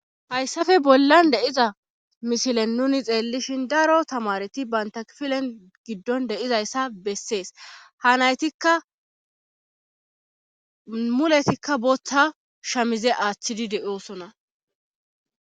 Hayssafe bollan deiza mishilen nuni xeellishin daro tamareti bayntafilen giddon deizayssa bessees ha naytikka muletikka boththa shamize aaththidi deoosona.